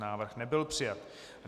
Návrh nebyl přijat.